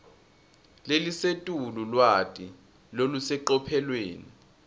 lelisetulu lwati lolusecophelweni